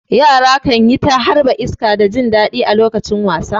Yara kan yi ta harba iska da jin daɗi a lokacin wasa.